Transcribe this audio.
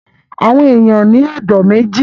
Àwọn èèyàn ní ẹ̀dọ̀ méjì